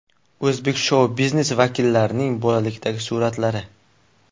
O‘zbek shou-biznesi vakillarining bolalikdagi suratlari .